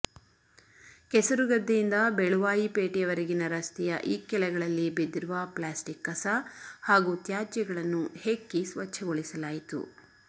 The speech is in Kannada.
ಕೆಸರುಗದ್ದೆಯಿಂದ ಬೆಳುವಾಯಿ ಪೇಟೆಯ ವರೆಗಿನ ರಸ್ತೆಯ ಇಕ್ಕೆಲಗಳಲ್ಲಿ ಬಿದ್ದಿರುವ ಪ್ಲಾಸ್ಟಿಕ್ ಕಸ ಹಾಗೂ ತ್ಯಾಜ್ಯಗಳನ್ನು ಹೆಕ್ಕಿ ಸ್ವಚ್ಛಗೊಳಿಸಲಾಯಿತು